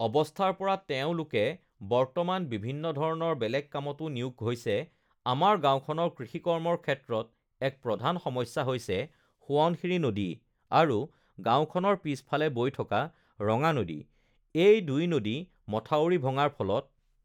অৱস্থাৰ পৰা তেওঁলোকে বৰ্তমান বিভিন্ন ধৰণৰ বেলেগ কামতো নিয়োগ হৈছে আমাৰ গাঁওখনৰ কৃষি কৰ্মৰ ক্ষেত্ৰত এক প্ৰধান সমস্যা হৈছে সোৱণশিৰি নদী আৰু গাঁওখনৰ পিছফালে বৈ থকা ৰঙা নদী এই দুই নদী মথাউৰি ভঙাৰ ফলত